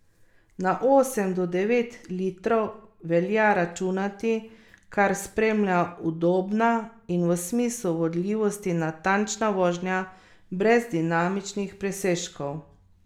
Na osem do devet litrov velja računati, kar spremlja udobna in v smislu vodljivosti natančna vožnja brez dinamičnih presežkov.